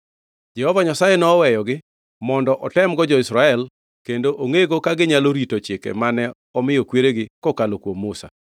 Jehova Nyasaye nowegi mondo otemgo jo-Israel kendo ongʼego ka ginyalo rito chike mane omiyo kweregi kokalo kuom Musa.